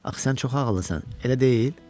Axı sən çox ağıllısan, elə deyil, hə?